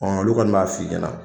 Ɔn olu kɔni b'a f'i ɲɛna.